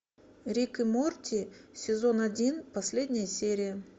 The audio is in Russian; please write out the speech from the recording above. рик и морти сезон один последняя серия